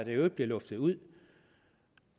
øvrigt bliver luftet ud